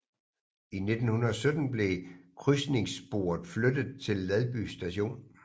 I 1917 blev krydsningssporet flyttet til Ladby Station